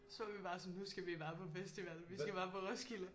Så var vi bare sådan nu skal vi bare på festival Vi skal bare på Roskilde